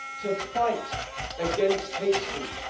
to fight against hate speech.